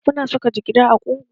Kuna saka jigida a ƙugu?